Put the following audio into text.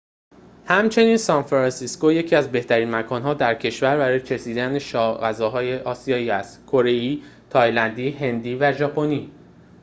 همچنین سانفرانسیسکو یکی از بهترین مکان‌ها در کشور برای چشیدن سایر غذاهای آسیایی است کره‌ای تایلندی هندی و ژاپنی